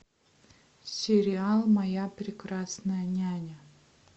сериал моя прекрасная няня